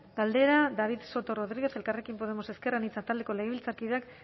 galdera david soto rodríguez elkarrekin podemos ezker anitza taldeko legebiltzarkideak